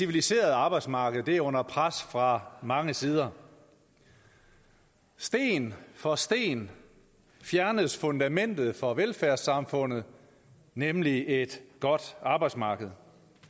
civiliserede arbejdsmarked er under pres fra mange sider sten for sten fjernes fundamentet for velfærdssamfundet nemlig et godt arbejdsmarked